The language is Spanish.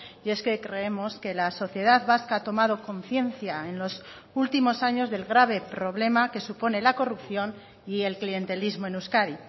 y es que creemos que la sociedad vasca ha tomado conciencia en los últimos años del grave problema que supone la corrupción y el clientelismo en euskadi